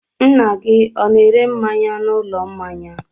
Nna gị ọ na-ere mmanya n'ụlọ mmanya?